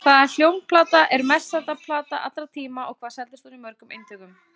Hvaða hljómplata er mest selda plata allra tíma og hvað seldist hún í mörgum eintökum?